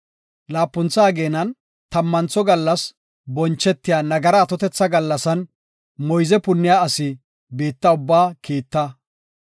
Laapuntha ageenan, tammantho gallas bonchetiya nagara atotetha gallasan moyze punniya asi biitta ubbaa kiitta.